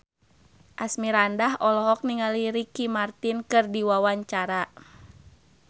Asmirandah olohok ningali Ricky Martin keur diwawancara